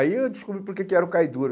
Aí eu descobri por que que era o cai duro.